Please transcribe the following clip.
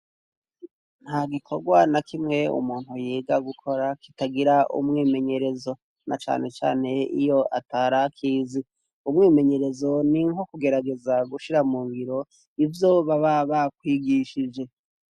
Nta gikorwa na kimwe umuntu yiga gukora kitagira umwimenyerezo na canecane iyo atarakizi umwimenyerezo ni nko kugerageza gushira mu ngiro ivyo baba bakwigishije.